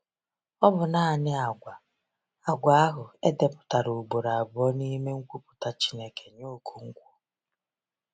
Ọ bụ naanị àgwà àgwà ahụ e depụtara ugboro abụọ n’ime nkwupụta Chineke nye Okonkwo.